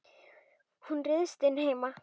Hún ryðst inn heima.